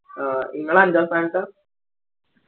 ആ ഇങ്ങള് അഞ്ചാം സ്ഥാനത്താ